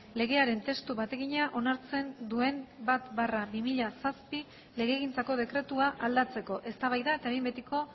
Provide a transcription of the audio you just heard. legearen testu bategina onartzen duen bat barra bi mila zazpi legegintzako dekretua aldatzeko eztabaida eta behin betiko